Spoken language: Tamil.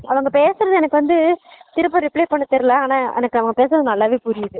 அவங்க பேசுனது எனக்கு வந்து திருப்ப reply பண்ண தெறியல ஆனா அவங்க பேசுனது நல்லாவே புரியுது